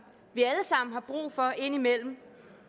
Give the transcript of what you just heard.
indimellem